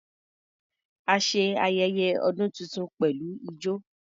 A ṣe ayẹyẹ ọdún tuntun pẹ̀lú ijọ.